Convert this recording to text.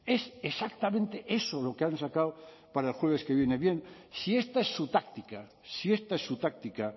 es exactamente eso lo que han sacado para el jueves que viene bien si esta es su táctica si esta es su táctica